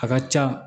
A ka ca